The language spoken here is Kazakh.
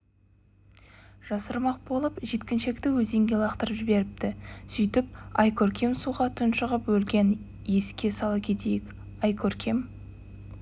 жасырмақ болып жеткіншекті өзенге лақтырып жіберіпті сөйтіп айкөркем суға тұншығып өлген еске сала кетейік айкөркем